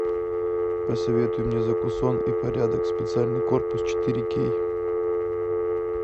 посоветуй мне закусон и порядок специальный корпус четыре кей